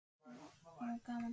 Það var nú gaman.